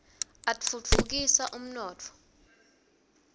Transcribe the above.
atfutfu kisa umnotfo